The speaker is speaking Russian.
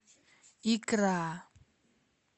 икра